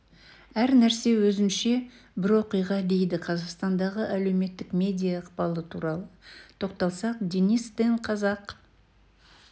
әр нәрсе өзінше бір оқиға дейді қазақстандағы әлеуметтік медиа ықпалы туралы тоқталсақ денис тен қазақ